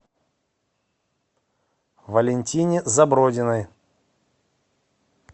валентине забродиной